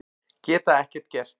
Geta ekkert gert.